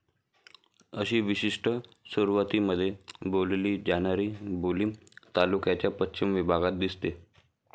अशी विशिष्ट सुरवातीमध्ये बोलली जाणारी बोली तालुक्याच्या पश्चिम विभागात दिसते.